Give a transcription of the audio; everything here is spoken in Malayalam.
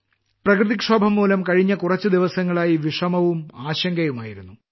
പ്രകൃതിക്ഷോഭം മൂലം കഴിഞ്ഞ കുറച്ച് ദിവസങ്ങളായി വിഷമവും ആശങ്കയും ആയിരുന്നു